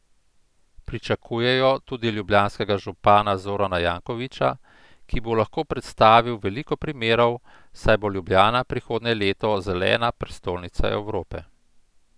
Pričakujejo tudi ljubljanskega župana Zorana Jankovića, ki bo lahko predstavil veliko primerov, saj bo Ljubljana prihodnje leto Zelena prestolnica Evrope.